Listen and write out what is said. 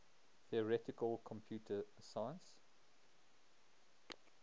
theoretical computer science